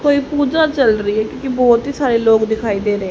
कोई पूजा चल री है क्योंकि बहोत ही सारे लोग दिखाई दे रहे--